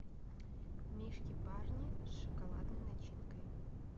мишки барни с шоколадной начинкой